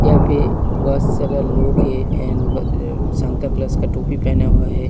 यहाँ पे बहुत सारा लोग है एंड वे सांता क्लोज का टोपी पहन हुआ है।